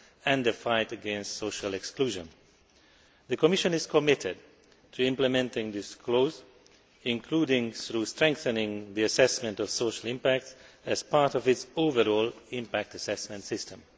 and the fight against social exclusion'. The Commission is committed to implementing this clause, including through strengthening the assessment of social impact, as part of its overall impact assessment system.